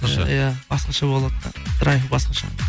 иә басқаша болады да драйв басқаша